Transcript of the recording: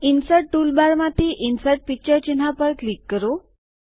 insert toolbar માંથી insert picture ચિહ્ન પર ક્લિક કરો